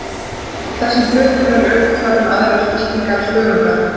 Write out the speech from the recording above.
Þessum hlutum er öfugt farið með aðrar fylkingar þörunga.